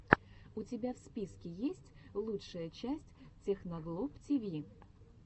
у тебя в списке есть лучшая часть техноглоб тиви